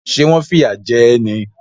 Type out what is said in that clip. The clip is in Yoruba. Ṣé wọ́n fìyà jẹ ẹ́ ni?